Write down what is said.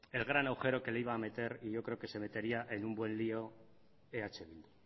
el gran agujero que le iba a meter y yo creo que se metería en un buen lío eh bildu